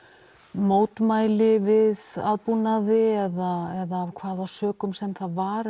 mótmæli við aðbúnaði eða af hvaða sökum sem það var